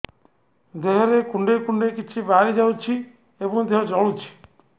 ଦେହରେ କୁଣ୍ଡେଇ କୁଣ୍ଡେଇ କିଛି ବାହାରି ଯାଉଛି ଏବଂ ଦେହ ଜଳୁଛି